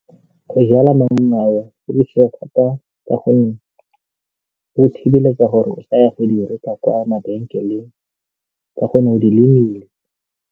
Go jala ka gonne go thibeletsa gore o s'ka ya go di reka kwa mabenkeleng ka gonne o di lemile.